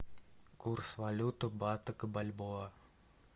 курс валют бата к бальбоа